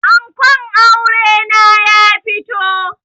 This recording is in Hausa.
Ankon aure na ya fito